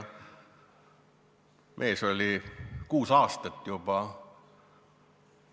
Mees on kuus aastat juba muretsenud.